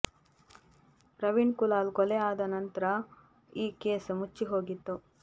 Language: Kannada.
ಪ್ರವೀಣ್ ಕುಲಾಲ್ ಕೊಲೆ ಆದ ನಂತ್ರ ಈ ಕೇಸ್ ಮುಚ್ಚಿ ಹೋಗ್ತಿತ್ತು